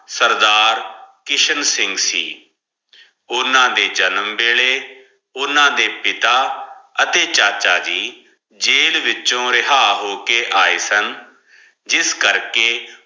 ਸਰਦਾਰ ਕਿਸ਼ਨ ਸਿੰਗ ਸੇ ਓਨਾ ਦੇ ਜਨਮ ਵੈਲੀ ਓਨਾ ਦੇ ਪਿੱਤਾ ਹਟੀ ਚਾਚਾ ਦੀ ਜੈਲ ਵਿਚੋਂ ਰੇਯ੍ਹਾ ਹੋ ਕੇ ਆ ਆਯ ਸਨ ਜਿਸ ਕਰ ਕੇ